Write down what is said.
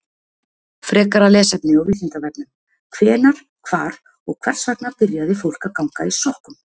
Frekara lesefni á Vísindavefnum: Hvenær, hvar og hvers vegna byrjaði fólk að ganga í sokkum?